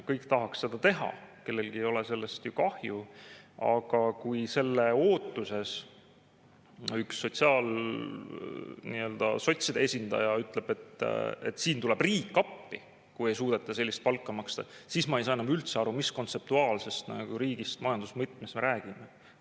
Kõik tahaksid seda teha, kellelgi ei ole sellest ju kahju, aga kui selle ootuses üks sotside esindaja ütleb, et siin tuleb riik appi, kui ei suudeta sellist palka maksta, siis ma ei saa enam üldse aru, mis kontseptuaalsest riigist majanduse mõttes me räägime.